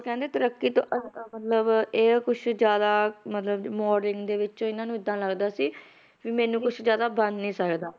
ਕਹਿੰਦੇ ਤਰੱਕੀ ਮਤਲਬ ਇਹ ਕੁਛ ਜ਼ਿਆਦਾ ਮਤਲਬ modeling ਦੇ ਵਿੱਚ ਇਹਨਾਂ ਨੂੰ ਏਦਾਂ ਲੱਗਦਾ ਸੀ ਵੀ ਮੈਨੂੰ ਕੁਛ ਜ਼ਿਆਦਾ ਬਣ ਨੀ ਸਕਦਾ,